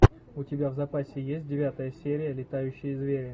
у тебя в запасе есть девятая серия летающие звери